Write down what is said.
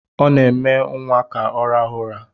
Ọ na-eme nwa ka ọ rahụ ụra